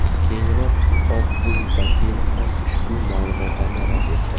Keyinroq Oq uy vakili ham ushbu ma’lumotlarni rad etdi.